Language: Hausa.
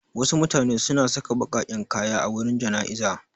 Wasu mutane suna saka baƙaƙen kaya a wurin jana'iza.